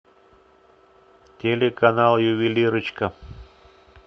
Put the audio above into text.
телеканал ювелирочка